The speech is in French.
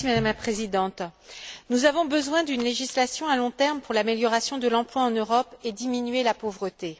Madame la Présidente, nous avons besoin d'une législation à long terme pour améliorer l'emploi en Europe et diminuer la pauvreté.